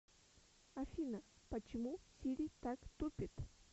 афина почему сири так тупит